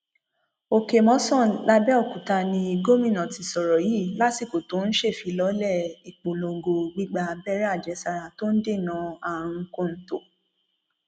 òkèmòsàn làbẹòkúta ni gómìnà ti sọrọ yìí lásìkò tó ń ṣèfilọlẹ ìpolongo gbígbà abẹrẹ àjẹsára tó ń dènà àrùn kọńtò